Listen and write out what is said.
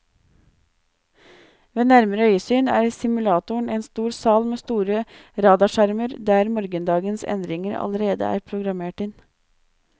Ved nærmere øyesyn er simulatoren en stor sal med store radarskjermer, der morgendagens endringer allerede er programmert inn.